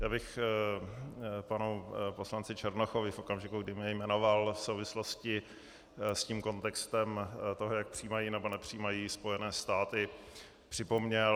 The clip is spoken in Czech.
Já bych panu poslanci Černochovi, v okamžiku, kdy mě jmenoval v souvislosti s tím kontextem toho, jak přijímají nebo nepřijímají Spojené státy, připomněl -